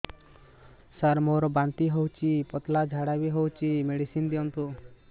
ସାର ମୋର ବାନ୍ତି ହଉଚି ପତଲା ଝାଡା ବି ହଉଚି ମେଡିସିନ ଦିଅନ୍ତୁ